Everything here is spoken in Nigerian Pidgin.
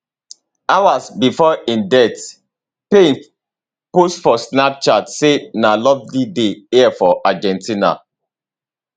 hours before im death payne post for snapchat say na a lovely day here for argentina